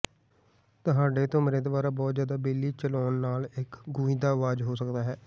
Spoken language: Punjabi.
ਤੁਹਾਡੇ ਧੁਮਰੇ ਦੁਆਰਾ ਬਹੁਤ ਜ਼ਿਆਦਾ ਬਿਜਲੀ ਚਲਾਉਣ ਨਾਲ ਇੱਕ ਗੂੰਜਦਾ ਆਵਾਜ਼ ਹੋ ਸਕਦਾ ਹੈ